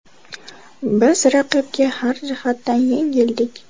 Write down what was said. Biz raqibga har jihatdan yengildik.